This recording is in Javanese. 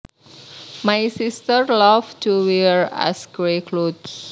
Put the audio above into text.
My sister loved to wear ash gray cloths